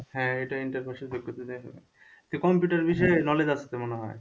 হ্যাঁ এটা inter pas এর যোগ্যতা দিয়ে হবে তো computer বিষয়ে knowledge আছে তো মনে হয়?